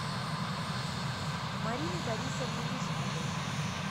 марины борисовны мешковой